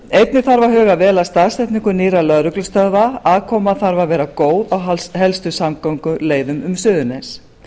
einnig þarf að huga vel að staðsetningu nýrra lögreglustöðva aðkoma þarf að vera góð á helstu samgönguleiðum um suðurnes